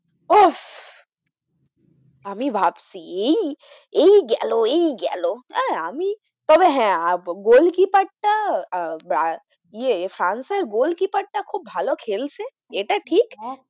আমি ভাবছি এই এই গেল, এই গেল আহ আমি তবে হ্যাঁ আহ গোলকিপারটা আহ ইয়ে ফ্রান্সের গোলকিপারটা খুব ভালো খেলছে এটা ঠিক,